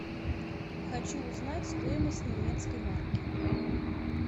хочу узнать стоимость немецкой марки